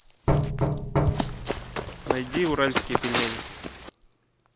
найди уральские пельмени